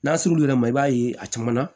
N'a surunl'i la i b'a ye a caman na